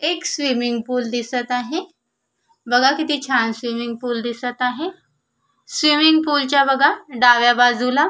एक swimming pool दिसत आहे बघा किती छान स्विमिंग पूल दिसत आहे स्विमिंग पुलच्या बघा डाव्या बाजूला --